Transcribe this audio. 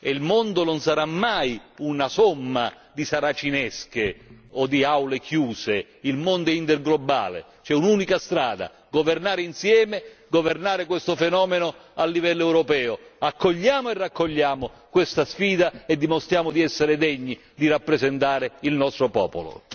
Il mondo non sarà mai una somma di saracinesche o di aule chiuse, il mondo è interglobale, c'è un'unica strada governare insieme, governare questo fenomeno a livello europeo, accogliamo e raccogliamo questa sfida e dimostriamo di essere degni di rappresentare il nostro popolo.